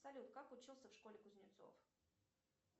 салют как учился в школе кузнецов